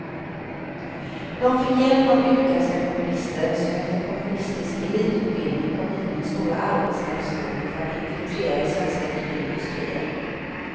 De fick hjälp av utländska kommunister, som efter kommunistisk elitutbildning kom hit med den stora arbetskraftsvågen för att infiltrera i svenska nyckelindustrier.